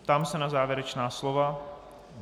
Ptám se na závěrečná slova.